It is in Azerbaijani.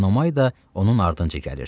Enomay da onun ardınca gəlirdi.